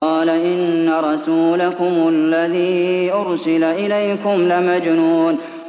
قَالَ إِنَّ رَسُولَكُمُ الَّذِي أُرْسِلَ إِلَيْكُمْ لَمَجْنُونٌ